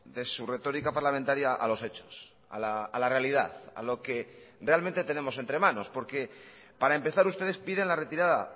de su retórica parlamentaria a los hechos a la realidad a lo que realmente tenemos entre manos porque para empezar ustedes piden la retirada